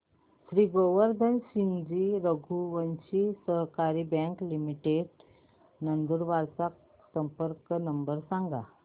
श्री गोवर्धन सिंगजी रघुवंशी सहकारी bank limited Nandurbar चा संपर्क नंबर सांगा